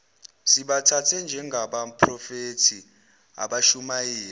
sibathathe njengabaphrofethi abashumayela